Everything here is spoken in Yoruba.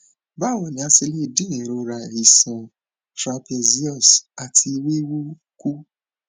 báwo ni a ṣe le dín ìrora iṣan trapezius àti wíwú kù